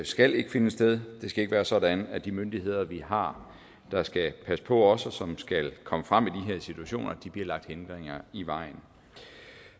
skal ikke finde sted og det skal ikke være sådan at de myndigheder vi har der skal passe på os og som skal komme frem i de her situationer bliver lagt hindringer i vejen